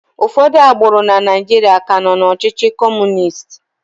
Ụfọdụ agbụrụ na Naijiria ka nọ na ọchịchị Kọmunist.